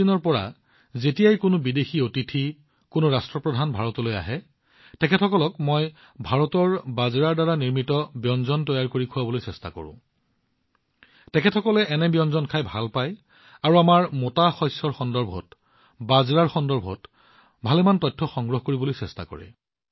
কিছু সময়ৰ পৰা যেতিয়া কোনো বিদেশী অতিথি ভাৰতলৈ আহে যেতিয়া কোনো ৰাষ্ট্ৰপ্ৰধান ভাৰতলৈ আহে মই ভাৰতৰ বাজৰাৰ দ্বাৰা নিৰ্মিত ব্যঞ্জন তৈয়াৰ কৰিবলৈ চেষ্টা কৰোঁ অৰ্থাৎ খাদ্যত আমাৰ মোটা শস্য আৰু আমি এই অভিজ্ঞতা লাভ কৰিছো এই গণ্যমান্য ব্যক্তিসকলে এই ব্যঞ্জনবোৰ বহুত ভাল পায় আৰু আমাৰ মোটা শস্যৰ সন্দৰ্ভত তেওঁলোকে বাজৰাৰ বিষয়ে বহুতো তথ্য সংগ্ৰহ কৰিবলৈ চেষ্টা কৰে